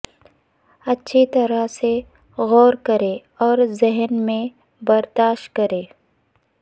اچھی طرح سے غور کریں اور ذہن میں برداشت کریں